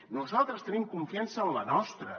nosaltres tenim confiança en la nostra